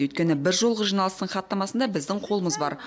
өйткені бір жолғы жиналыстың хаттамасында біздің қолымыз бар